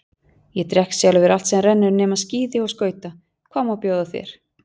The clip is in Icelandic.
Ég drekk sjálfur allt sem rennur nema skíði og skauta, hvað má bjóða þér?